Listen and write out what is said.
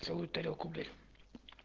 целую тарелку блять